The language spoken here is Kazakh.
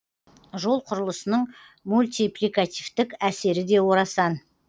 жол құрылысының мультипликативтік әсері де орасан